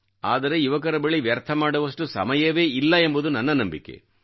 ಆದರೆ ಯುವಕರ ಬಳಿ ವ್ಯರ್ಥಮಾಡುವಷ್ಟು ಸಮಯವೇ ಇಲ್ಲ ಎಂಬುದು ನನ್ನ ನಂಬಿಕೆ